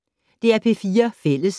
DR P4 Fælles